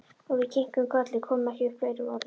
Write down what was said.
Og við kinkuðum kolli, komum ekki upp fleiri orðum.